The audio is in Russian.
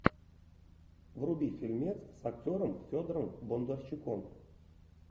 вруби фильмец с актером федором бондарчуком